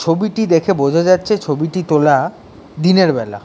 ছবিটি দেখে বোঝা যাচ্ছে ছবিটি তোলা দিনের বেলা।